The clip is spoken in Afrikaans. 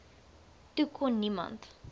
toe kon niemand